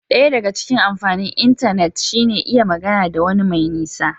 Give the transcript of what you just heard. Daya daga cikin amfanin intanet shi ne iya magana da wani mai nisa